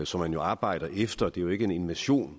som man jo arbejder efter det er jo ikke en invasion